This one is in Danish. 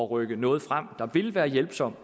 rykke noget frem der vil være hjælpsomt